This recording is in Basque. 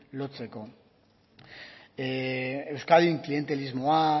lotzeko euskadin clientelismoa